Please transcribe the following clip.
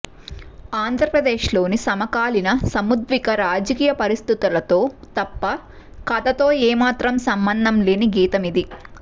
ఆంధ్రప్రదేశ్లోని సమకాలీన సముద్విగ్న రాజకీయ పరిస్థితులతో తప్ప కథతో ఏమాత్రం సంబంధం లేని గీతమిది